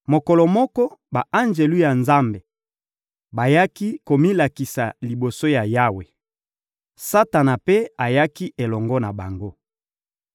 Mokolo moko, ba-anjelu ya Nzambe bayaki komilakisa liboso ya Yawe. Satana mpe ayaki elongo na bango.